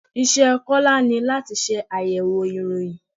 Iṣẹ́ Kọ́lá ni láti ṣe àyẹ̀wò ìròyìn.